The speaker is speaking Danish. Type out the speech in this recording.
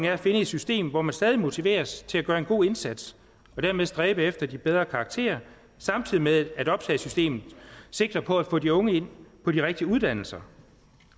er at finde et system hvor man stadig motiveres til at gøre en god indsats og dermed stræbe efter de bedre karakterer samtidig med at optagesystemet sigter på at få de unge ind på de rigtige uddannelser